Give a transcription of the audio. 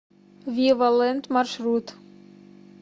вива лэнд маршрут